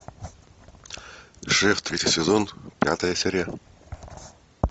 шеф третий сезон пятая серия